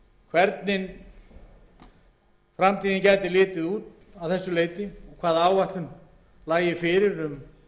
hvernig framtíðin gæti litið út að þessu leyti hvaða áætlun liggi fyrir um